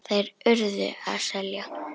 Þeir URÐU að selja.